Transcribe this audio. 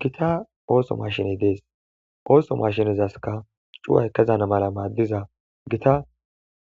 gita ooso mashiney dees ooso mashinezaska cuu7ay kezana mala maaddiza gita